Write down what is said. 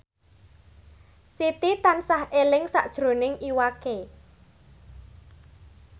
Siti tansah eling sakjroning Iwa K